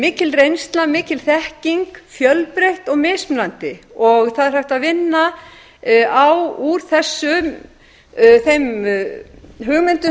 mikil reynsla mikil þekking fjölbreytt og mismunandi það er hægt að vinna úr þeim hugmyndum